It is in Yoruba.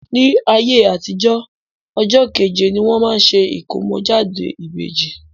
Ní ayé àtijo, ọjọ́ kẹ́je ni wọ́n máa ṣe ìkómọ́jáde ìbèjì.